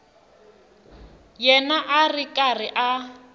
yena a ri karhi a